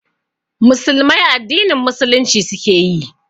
Musulmai addinin Musulunci suke yi